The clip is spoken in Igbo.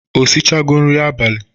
O shichego nri abalị?